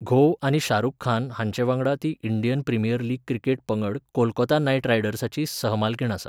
घोव आनी शाहरुख खान हांचे वांगडा ती इंडियन प्रिमियर लीग क्रिकेट पंगड कोलकाता नायट रायडर्साची सहमालकीण आसा.